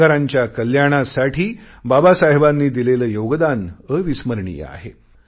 कामगारांच्या कल्याणासाठी बाबासाहेबांनी दिलेले योगदान अविस्मरणीय आहे